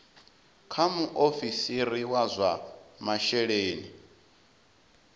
kha muofisiri wa zwa masheleni